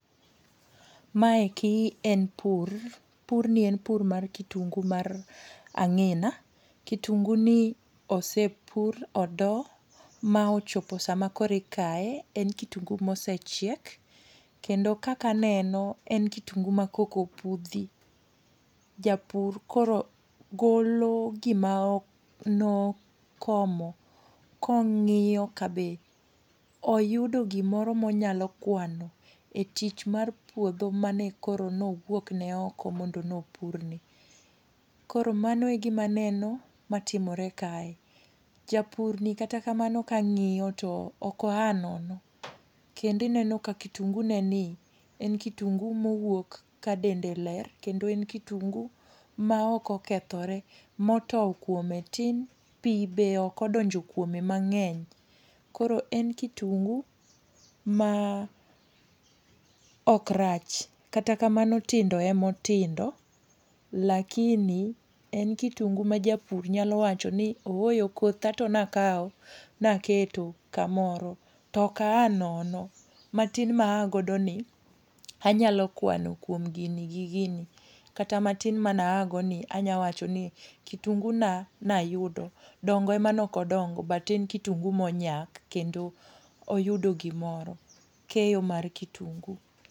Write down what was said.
Maeki en pur. Purno en pur mar kitungu mar ang'ina. Kitungu ni osepur, odo, ma ochopo sama koro ikaye. En kitungu ma osechiek. Kendo kaka aneno en kitungu ma koka opudhi. Japur koro golo gima ok, no komo, kong'iyo ka be oyudo gimoro ma onyal kwano e tich mar puodho mane koro ne owuok ne oko mondo nopurni. Koro mano e gima aneno matimore kae. Japurni kata kamano kaang'iyo to ok oa nono. Kendo ineno ka kitungu ne ni en kitungu ma owuok ka dende ler. Kendo en kitungu ma ok okethore, motow kuome tin. Pi bende ok odonjo kuome mang'eny. Koro en kitungu ma ok rach. Kata kamano tindo ema otindo, lakini en kitungu ma japur nyalo wacho ni ooyo kotha to ne akawo, ma aketo kamoro, to ok aa nono. Matin maagodo ni anyalo kwano kuom gini gi gini. Kata matin mane aa go ni anaywacho ni kitungu na nayudo. Dongo ema ok odongo but en kitungu ma onyak kendo oyudo gimoro. Keyo mar kitungu.